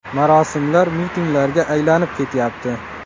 Marosimlar mitinglarga aylanib ketyapti.